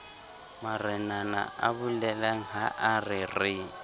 marenana abolelang haa re re